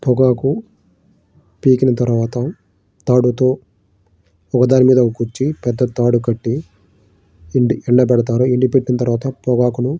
పొగాకు పీకిన తర్వాత తాడుతో ఒక దాని మీద ఒకటి పెద్ద తాడు కట్టి ఎం ఎండ పెడతారు ఎండ పెట్టిన తర్వాత పొగాకును --